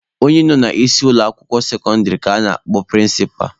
Onye nọ n'isi ụlọ akwụkwọ sekọndịrị ka a na-akpọ prịnsịpa.